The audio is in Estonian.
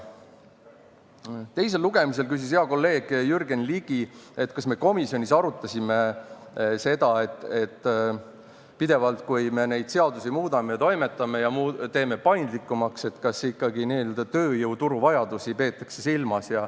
Teise lugemisel küsis hea kolleeg Jürgen Ligi, kas me komisjonis arutasime seda, et kui me pidevalt seadusi muudame, toimetame ja teeme neid paindlikumaks, siis kas ikkagi tööjõuturu vajadusi peetakse silmas.